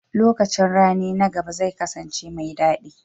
Lokacin rani na gaba zai kasance mai daɗi.